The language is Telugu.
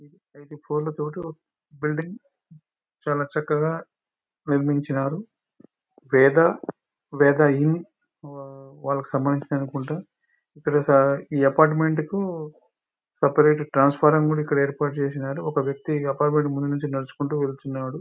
రెండు ఫ్లోర్లతోటి ఒక బిల్డింగు చాలా చక్కగా నిర్మించినారు. పేద బెదాహి వాళ్ళకి సంబంధించినవి అనుకుంటా. ప్లస్ ఈ అపార్ట్మెంట్ కు సపరేటు ట్రాన్సఫార్మ్ కూడా ఇక్కడ ఏర్పాటు చేసినారు. ఒక వ్యక్తి అపార్ట్మెంట్ ముందు నుంచి నడుచుకుంటూ వెళ్తున్నాడు.